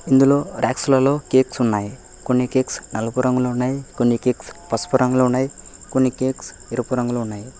ఇందులో ర్యక్సులలో కేక్స్ ఉన్నాయి కొన్ని కేక్స్ నలుపు రంగులో ఉన్నాయి కొన్ని కేక్స్ పసుపు రంగులో ఉన్నాయి కొన్ని కేక్స్ ఎరుపు రంగులో ఉన్నాయి.